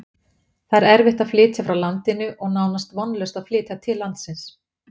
Það er erfitt að flytja frá landinu og nánast vonlaust að flytja til landsins.